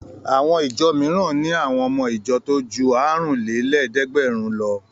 Àwọn ìjọ mìíràn ni àwọn ọmọ ìjọ tó ju àrùnlélẹ́ẹ̀dẹ́gbẹ̀rún lọ.